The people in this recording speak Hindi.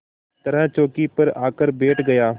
तरह चौकी पर आकर बैठ गया